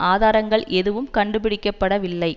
ஆதாரங்கள் எதுவும் கண்டுபிடிக்க படவில்லை